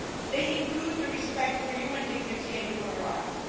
They include respect for human dignity and human rights.